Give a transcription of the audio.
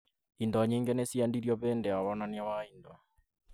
Indo nyingĩ nĩciendirio hĩndĩ ya wonania wa indo